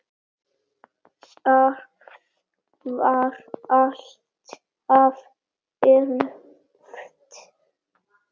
Það var alltaf erfitt.